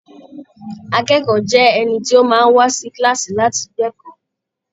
Akẹ́kọ̀ọ́ jẹ́ ẹni tó máa ń wá sí kíláàsì láti gbẹ̀kọ́.